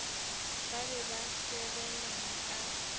ba be ba sebelana ka